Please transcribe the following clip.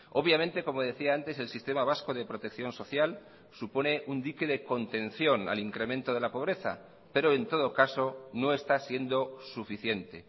obviamente como decía antes el sistema vasco de protección social supone un dique de contención al incremento de la pobreza pero en todo caso no está siendo suficiente